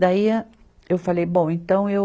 Daí a, eu falei, bom, então eu...